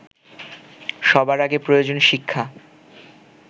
সবার আগে প্রয়োজন শিক্ষা